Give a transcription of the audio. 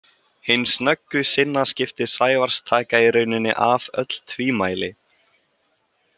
Hin snöggu sinnaskipti Sævars taka í rauninni af öll tvímæli.